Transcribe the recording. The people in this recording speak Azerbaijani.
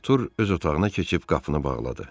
Artur öz otağına keçib qapını bağladı.